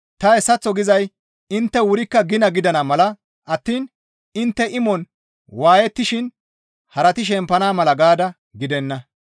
Ta hayssaththo gizay intte wurikka gina gidana mala attiin intte imon waayettishin harati shempana mala gaada gidenna.